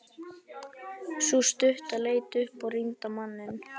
Sú stutta leit upp og rýndi á manninn.